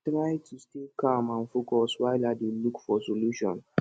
i dey try to stay calm and focus while i dey look for solution